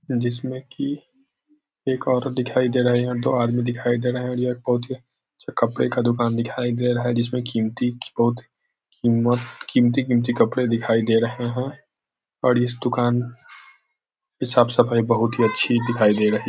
जिसमें कि एक औरत दिखाई दे रहा है और दो आदमी दिखाई दे रहा है यह एक पौधे च कपड़े का दुकान दिखाई दे रहा है जिसमें कीमती पौधे कीमत कीमती-कीमती कपड़े दिखाई दे रहे हैं और इस दुकान के साफ सफाई बहुत ही अच्छी दिखाई दे रही --